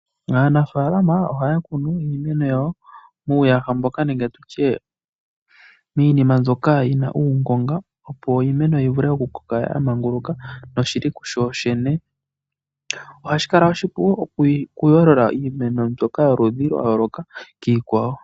Aanafaalama ohaya kunu iimeno yawo muuyaha nenge tu tye miinima mbyoka yi na uungonga, opo iimeno yi vule okukoka ya manguluka kuyo yene. Ohashi kala oshipu okuyoolola iimeno mbyoka yoludhi lwa yooloka kiikwawo.